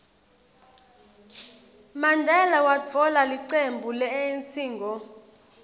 mandela watfola licembu le anc ngo